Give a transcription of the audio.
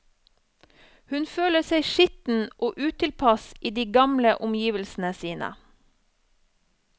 Hun føler seg skitten og utilpass i de gamle omgivelsene sine.